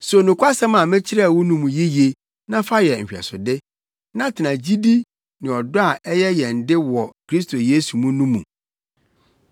So nokwasɛm a mekyerɛɛ wo no mu yiye na fa yɛ nhwɛsode, na tena gyidi ne ɔdɔ a ɛyɛ yɛn de wɔ Kristo Yesu mu no mu.